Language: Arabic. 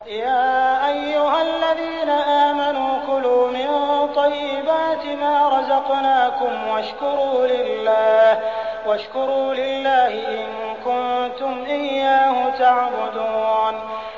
يَا أَيُّهَا الَّذِينَ آمَنُوا كُلُوا مِن طَيِّبَاتِ مَا رَزَقْنَاكُمْ وَاشْكُرُوا لِلَّهِ إِن كُنتُمْ إِيَّاهُ تَعْبُدُونَ